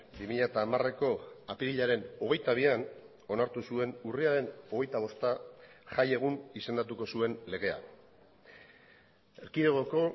bi mila hamareko apirilaren hogeita bian onartu zuen urriaren hogeita bosta jai egun izendatuko zuen legea erkidegoko